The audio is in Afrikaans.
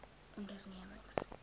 ondernemings